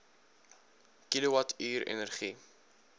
kilowatt uur energie